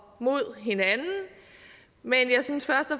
mod hinanden men jeg synes først og